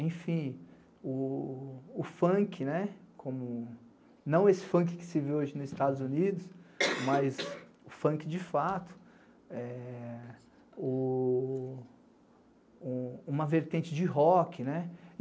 Enfim, o funk, não esse funk que se vê hoje nos Estados Unidos, mas o funk de fato, uma vertente de rock.